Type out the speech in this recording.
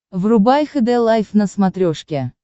врубай хд лайф на смотрешке